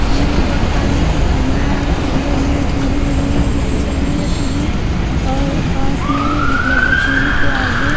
सामने में देख पा रही हूं कि एक कमरा है और कमरे में टी_वी लगी हुई है जो कि चल रही है टी _वी और पास में मतलब टी _वी के आगे--